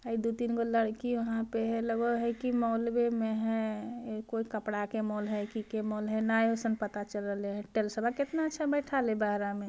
ए दो-तीन गो लड़की वहां पे है लगे है कि मॉलवा में है कोई कपड़ा के मॉल है कि के मॉल है ने वैसन पता चल रहले है टाइल्सवा कितना अच्छा बैठल हई बाड़ा में।